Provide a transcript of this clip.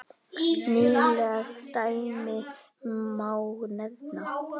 Nýleg dæmi má nefna.